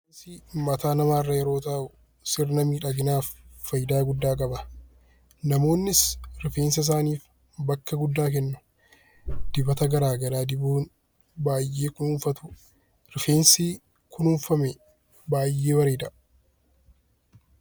Rifeensi mataa namaarra gaafa taa'u sirna miidhaginaaf fayidaa guddaa qaba. Namoonnis rifeensa isaaniif bakka guddaa kennu. Dibata garaagaraa dibuun baay'ee kunuunfatu rifeensi kunuunfame baay'ee bareeda.